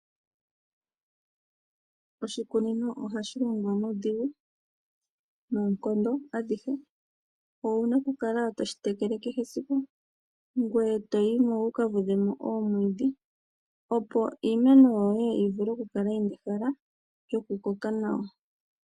Oshikunino ohashi ningwa nuudhigu noonkondo adhihe owuna oku kala toshi tekele kehe esiku ngwe eto yi mo wuka vudhe mo oomwiidhi opo iimeno yoye yi vule oku kala yina ehala yoku koka nawa.